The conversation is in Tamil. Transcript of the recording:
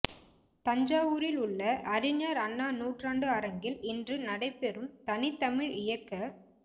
தஞ்சாவூரில் உள்ள அறிஞர் அண்ணா நூற்றாண்டு அரங்கில் இன்று நடைபெறும் தனித்தமிழ் இயக்க